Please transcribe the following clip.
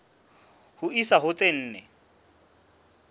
ho isa ho tse nne